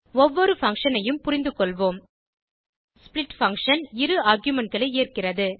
ஒவ்வொரு பங்ஷன் ஐயும் புரிந்துகொள்வோம் ஸ்ப்ளிட் பங்ஷன் இரு argumentகளை ஏற்கிறது